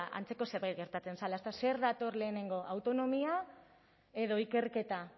ba antzeko zerbait gertatzen zela ezta zer dator lehenengo autonomia edo ikerketa